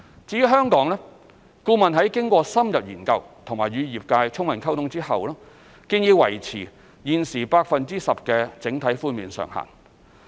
至於香港，顧問在經過深入研究並與業界充分溝通後，建議維持現時 10% 的整體寬免上限。